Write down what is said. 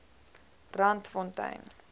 randfontein